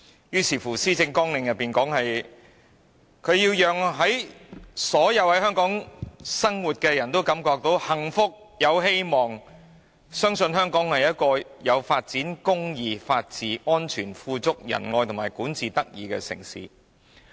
於是施政綱領便說要讓所有生活在香港的人都感覺幸福、有希望，相信香港是個有發展、公義、法治、安全、富足、仁愛和管治得宜的城市。